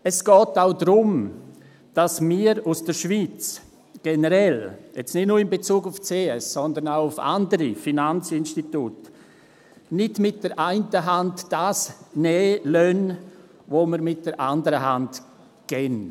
Es geht auch darum, dass wir aus der Schweiz uns generell, jetzt nicht nur in Bezug auf die CS, sondern auch in Bezug auf andere Finanzinstitute, nicht mit der einen Hand nehmen lassen, was wir mit der anderen Hand geben.